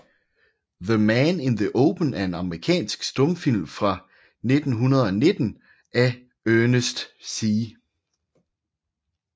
The Man in the Open er en amerikansk stumfilm fra 1919 af Ernest C